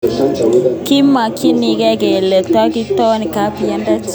Kimakikiker kele totkoek kapelindet ako eng betusiek log koek kapelindet.